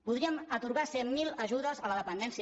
podríem atorgar cent mil ajudes a la dependència